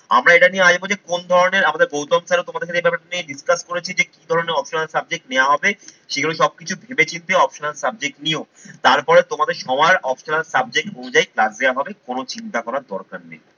আমরা এটা নিয়ে আসবো যে কোন ধরনের আমাদের গৌতম স্যার তোমাদের সাথে এই ব্যাপারটা নিয়ে discuss করেছি যে কি ধরনের optional subject নেওয়া হবে সেগুলো সব কিছু ভেবে চিন্তে optional subject নিও। তারপরে তোমাদের সবার optional subject অনুযায়ী class দেওয়া হবে কোন চিন্তা করার দরকার নেই।